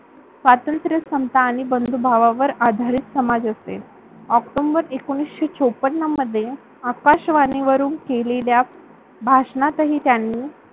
स्वतंत्र, समता, बंधुभावावर आधारित समाज असते. ऑक्टोबर एकोणीसशे चौपन्न मध्ये आकाशवाणी वरून केलेल्या भाषणात हि त्यांनी